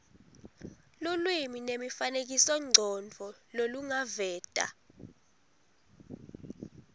lulwimi nemifanekisomcondvo lolungaveta